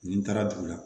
Nin taara dugu la